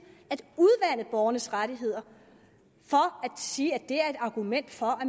at udvande borgernes rettigheder og siger at det er et argument for at